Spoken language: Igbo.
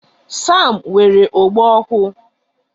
Sam nwere ogbo ọhụụ.